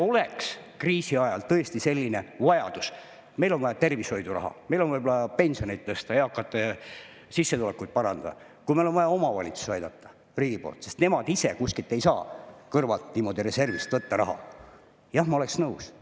Kui oleks kriisi ajal tõesti selline vajadus, et meil on vaja tervishoidu raha, meil on vaja võib-olla pensioneid tõsta, eakate sissetulekuid parandada, kui riigil on vaja omavalitsusi aidata, sest nemad ise ei saa kuskilt kõrvalt niimoodi reservist raha võtta – jah, ma oleksin nõus.